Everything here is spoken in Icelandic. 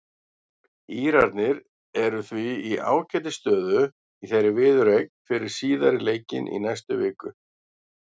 Írarnir eru því í ágætis stöðu í þeirri viðureign fyrir síðari leikinn í næstu viku.